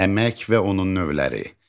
Əmək və onun növləri.